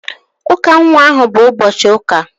Ụka nwa ahụ bụ ụbọchị ụka